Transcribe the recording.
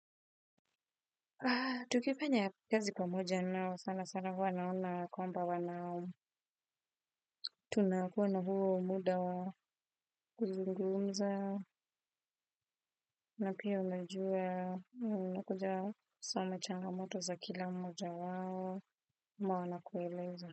Tukifanya kazi pamoja nao sana sana huwa naona kwamba wana tunakuwa na huo muda wa kuzungumza na pia unajuwa unakuja kusoma changamoto za kila mmoja wao ama wanakueleza.